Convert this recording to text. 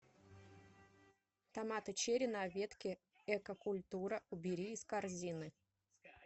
томаты черри на ветке экокультура убери из корзины